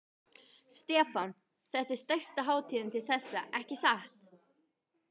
Stefán: Þetta er stærsta hátíðin til þessa, ekki satt?